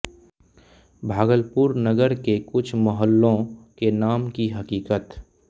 भागलपुर नगर के कुछ मुहल्लों के नाम की हकीकत